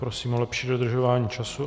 Prosím o lepší dodržování času.